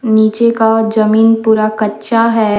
नीचे का जमीन पूरा कच्चा है।